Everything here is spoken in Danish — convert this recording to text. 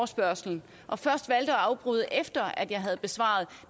spørgsmålet og først valgte at afbryde efter at jeg havde besvaret